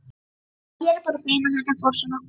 Já, ég er bara feginn að þetta fór svona.